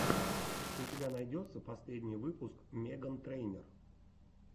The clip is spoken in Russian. у тебя найдется последний выпуск меган трейнер